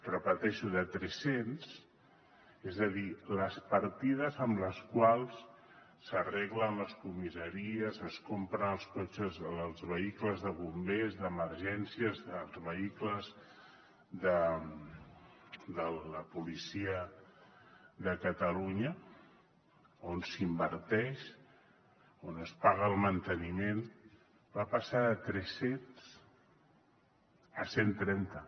repeteixo de tres cents és a dir les partides amb les quals s’arreglen les comissaries es compren els cotxes els vehicles de bombers d’emergències els vehicles de la policia de catalunya on s’inverteix on es paga el manteniment va passar de tres cents a cent i trenta